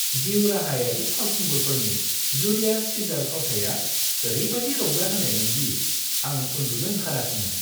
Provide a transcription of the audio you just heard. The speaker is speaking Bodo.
जिउ-राहायारि फावखुंगुरफोरनि जुलियास सीजार फावथाया ओरैबायदि रंजाहोनायमोन दि आं उन्दुनो ओंखाराखैमोन।